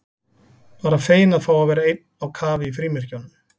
Bara feginn að fá að vera einn á kafi í frímerkjunum.